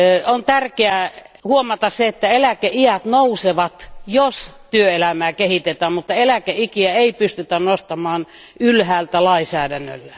On tärkeää huomata, että eläkeiät nousevat, jos työelämää kehitetään, mutta eläkeikiä ei pystytä nostamaan ylhäältä lainsäädännöllä.